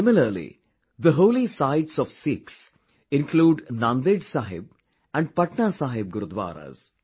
Similarly, the holy sites of Sikhs include 'Nanded Sahib' and 'Patna Sahib' Gurdwaras